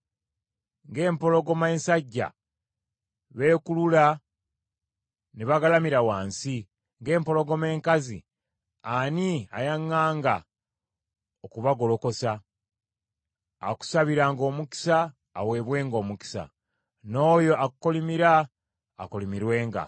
Ng’empologoma ensajja, beekulula ne bagalamira wansi, ng’empologoma enkazi; ani ayaŋŋanga okubagolokosa? “Akusabiranga omukisa aweebwenga omukisa n’oyo akukolimira akolimirwenga!”